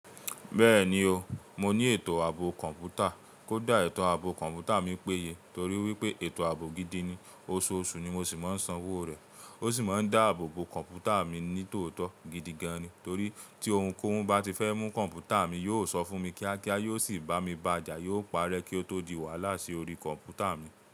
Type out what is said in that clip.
Bẹ́ẹ̀ni o, mo ní ètò ààbò kọ̀ǹpútà. Kódà ètò ààbò kọ̀ǹpútà mi péye torí wípé ètò ààbò gidi ni, oṣooṣù ni mo sì máa ń san owó rẹ̀. Ó sì máa ń dá ààbò bó kọ̀ǹpútà mi ní tòótọ́ gidi gan-an ni. Torí tí ohun kóhun bá ti fẹ́ mú kọ̀ǹpútà mi, yóò sọ fún mi kíákíá, yóò sì bá mi bàja, yóò pa'rẹ́ kí ó tó di wàhálà sí orí kọ̀ǹpútà mi.